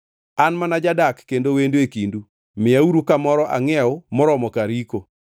“An mana jadak kendo wendo e kindu. Miyauru kamoro angʼiew moromo kar yiko.”